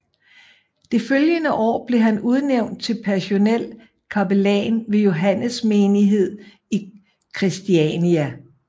Det følgende år blev han udnævnt til personel kapellan ved Johannes Menighed i Kristiania